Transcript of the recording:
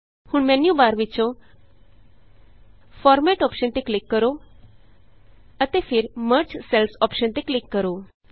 ਹੁਣ menu bar ਵਿਚੋਂ format option ਤੇ ਕਲਿਕ ਕਰੋ ਅਤੇ ਫਿਰ ਮਰਜ ਸੈਲਜ਼ ਅੋਪਸ਼ਨ ਤੇ ਕਲਿਕ ਕਰੋ